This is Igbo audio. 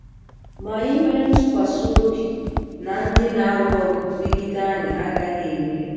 Ma anyị nwere ntụkwasị obi na ndị na-alụ ọgụ megide anyị agaghị emeri.